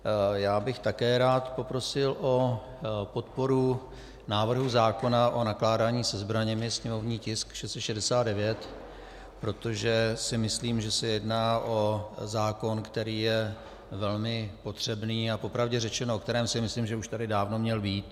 Já bych také rád poprosil o podporu návrhu zákona o nakládání se zbraněmi, sněmovní tisk 669, protože si myslím, že se jedná o zákon, který je velmi potřebný, a popravdě řečeno, o kterém si myslím, že už tady dávno měl být.